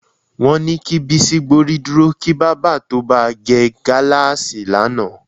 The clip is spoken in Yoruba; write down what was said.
Wó̩n ni kí Bísí gbórí dúro kí bábà tó ba ge̩ gáláàsì lánàá